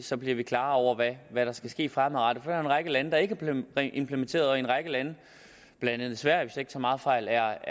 så bliver vi klar over hvad hvad der skal ske fremadrettet så er der en række lande der ikke har implementeret og i en række lande blandt andet sverige hvis jeg ikke tager meget fejl er